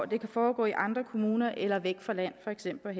det kan foregå i andre kommuner eller væk fra land for eksempel